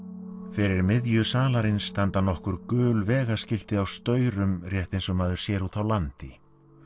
fyrir miðju salarins standa nokkur gul á staurum rétt eins og maður sér úti á landi